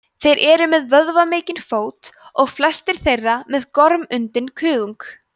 þeir eru með vöðvamikinn fót og flestir þeirra með gormundinn kuðung